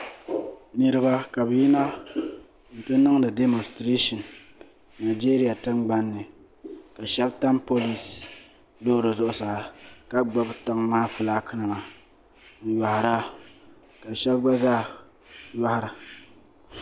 Niriba ka bɛ yina n-ti niŋdi dɛmɔsitirishin nigeria tingbani ni ka shɛba tam polinsi loori zuɣusaa ka gbubi tiŋa maa filaakinima n-yɔɣira ka shɛba gba zaa yɔɣira